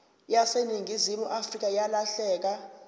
yaseningizimu afrika yalahleka